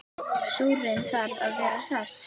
Súrinn þarf að vera hress!